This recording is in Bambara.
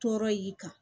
Tɔɔrɔ y'i kan